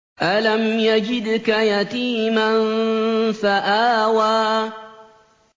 أَلَمْ يَجِدْكَ يَتِيمًا فَآوَىٰ